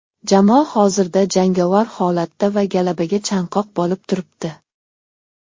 Jamoa hozirda jangovar holatda va g‘alabaga chanqoq bo‘lib turibdi.